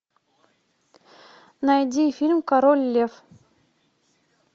найди фильм король лев